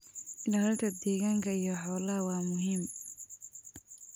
Ilaalinta deegaanka iyo xoolaha waa muhiim.